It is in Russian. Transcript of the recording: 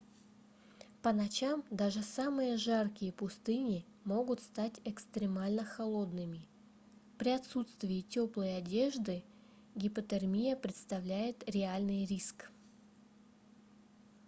по ночам даже самые жаркие пустыни могут стать экстремально холодными при отсутствии тёплой одежды гипотермия представляет реальный риск